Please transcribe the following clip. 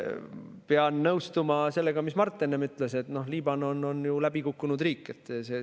Pean nõustuma sellega, mida Mart enne ütles, et Liibanon on läbi kukkunud riik.